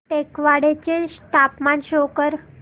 टेकवाडे चे तापमान शो कर